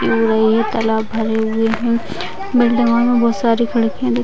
तालाब भरे हुए है बिल्डिंगो में बहुत सारी खिड़कियाँ दिख --